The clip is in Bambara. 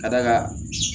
Ka d'a kan